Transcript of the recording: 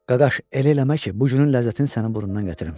Qardaş, elə eləmə ki, bu günün ləzzətini sənin burnundan gətirim.